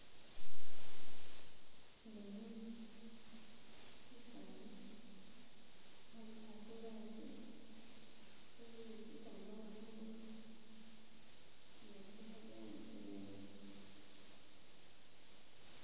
Khe mbona umusani khabyala bulaasi eboyele sitambaala khumurwe <> bye musirende.